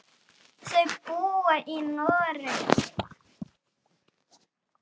Þau búa í Noregi.